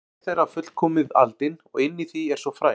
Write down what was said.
Raunar er hver þeirra fullkomið aldin og inni í því er svo fræ.